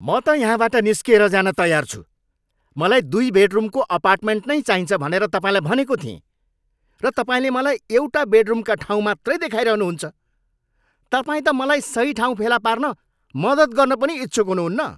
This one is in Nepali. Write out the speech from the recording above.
म त यहाँबाट निस्किएर जान तयार छु। मलाई दुई बेडरुमको अपार्टमेन्ट नै चाहिन्छ भनेर तपाईँलाई भनेको थिएँ, र तपाईँले मलाई एउटा बेडरुमका ठाउँ मात्रै देखाइरहनु हुन्छ। तपाईँ त मलाई सही ठाउँ फेला पार्न मद्दत गर्न पनि इच्छुक हुनुहुन्न।